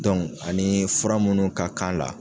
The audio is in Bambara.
anii fura munnu ka kan la